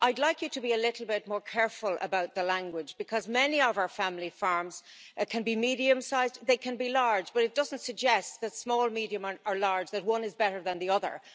I'd like you to be a little bit more careful about the language, because many of our family farms can be medium-sized or they can be large, but it doesn't suggest, whether small, medium or large, that one is better than the other.